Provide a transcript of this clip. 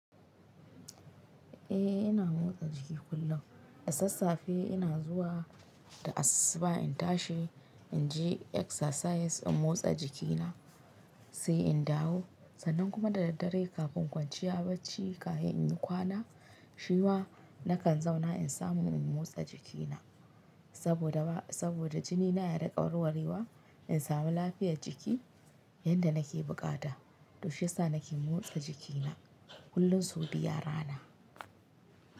Eh ina motsa jiki kullum, da sassafe ina zuwa da asissuba in tashi in je exercise in motsa jikina, sai in dawo sannan kuma da daddare kafin kwanciya bacci kahin in yi kwana, shi ma na kan zauna in samu in motsa jikina saboda, saboda jinina ya riƙa warwarewa in sami lafiyar jiki yanda nake buƙata. To shi yasa nake motsa jikina kullun sau biyu a rana.